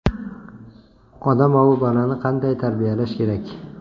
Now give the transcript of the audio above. Odamovi bolani qanday tarbiyalash kerak?.